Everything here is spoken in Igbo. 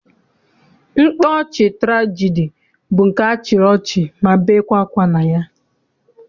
Mkpaọchị tụrajedi bụ nke a chịrị ọchị ma bekwaa akwa na ya.